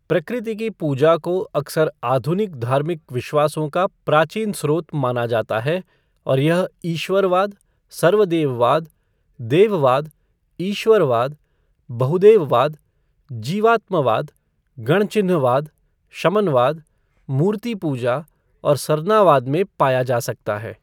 प्रकृति की पूजा को अक्सर आधुनिक धार्मिक विश्वासों का प्राचीन स्रोत माना जाता है और यह ईश्वरवाद, सर्वदेववाद, देववाद, ईश्वरवाद, बहुदेववाद, जीवात्मवाद, गणचिन्हवाद शमनवाद, मूर्तिपूजा और सरनावाद में पाया जा सकता है।